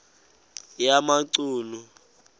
yamachunu